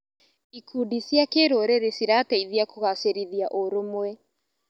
Ikundi cia kĩrũrĩrĩ cirateithia kũgacĩrithia ũrũmwe.